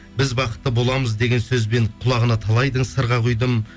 біз бақытты боламыз деген сөзбен құлағына талайдың сырға құйдым